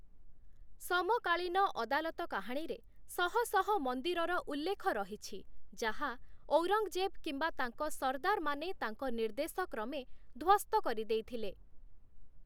ସମକାଳୀନ ଅଦାଲତ କାହାଣୀରେ ଶହ ଶହ ମନ୍ଦିରର ଉଲ୍ଲେଖ ରହିଛି ଯାହା, ଔରଙ୍ଗଜେବ୍‌ କିମ୍ବା ତାଙ୍କ ସର୍ଦ୍ଦାରମାନେ ତାଙ୍କ ନିର୍ଦ୍ଦେଶ କ୍ରମେ ଧ୍ୱସ୍ତ କରିଦେଇଥିଲେ ।